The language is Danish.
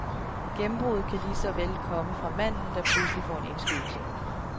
Gennembruddet kan lige så vel komme fra manden, der pludselig får en indskydelse.